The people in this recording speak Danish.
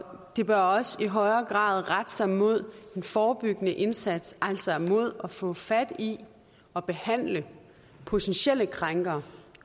det bør også i højere grad rette sig mod den forebyggende indsats altså mod at få fat i og behandle potentielle krænkere